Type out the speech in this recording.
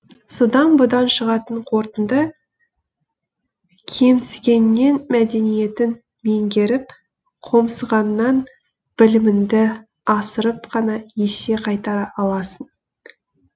содан бұдан шығатын қорытынды кемсігеннен мәдениетін меңгеріп қомсығаннан білімінді асырып қана есе қайтара аласың